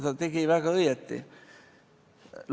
Ta oli teinud väga õigesti.